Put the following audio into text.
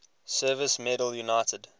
service medal united